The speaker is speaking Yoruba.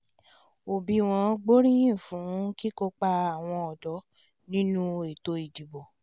òbíwọ́n gbóríyìn fún kíkópa àwọn ọ̀dọ́ nínú ètò ìdìbò